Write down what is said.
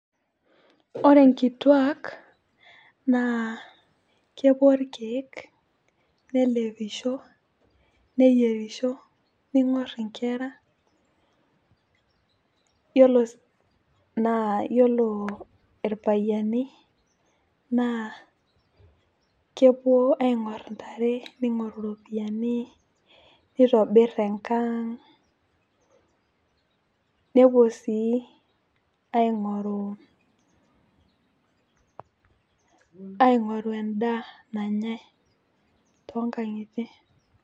Ore nkituak naa kepuo irkiek, nelepisho , neyierisho , ningor inkera yiolo, naa yiolo irpayiani naa kepuo aingoru intare , ningoru iropiyiani , nitobir enkang nepuo sii aingoru , aingoru endaa nanyae toonkangitie.